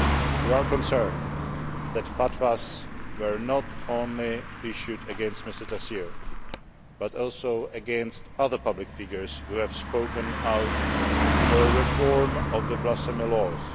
We are concerned that fatwas were not only issued against Mr Taseer but also against other public figures who have spoken out for a reform of the blasphemy laws.